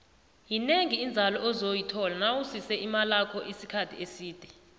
yinengi inzalo ozoyithola nawusise imalakho isikhathi eside